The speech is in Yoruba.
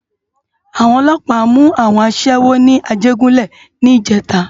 Awòn òlòpá mú áwòn aṣèwó ni Ajegunle nijètá